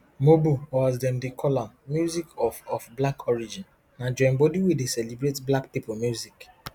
mobo or as dem dey call am music of of black origin na joinbodi wey dey celebrate black pipo music